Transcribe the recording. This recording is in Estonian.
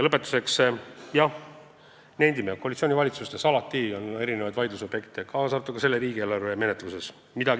Lõpetuseks nendime: jah, koalitsioonivalitsustes on alati vaidlusobjekte, kaasa arvatud selle riigieelarve menetluses.